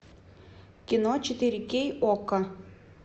кино четыре кей окко